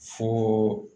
Fo